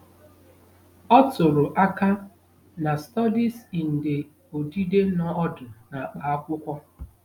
Ọ tụrụ aka na Studies in the odide nọ ọdụ n'akpa akwụkwọ.